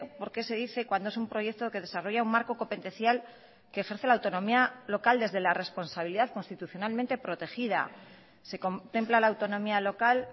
por qué se dice cuando es un proyecto que desarrolla un marco competencial que ejerce la autonomía local desde la responsabilidad constitucionalmente protegida se contempla la autonomía local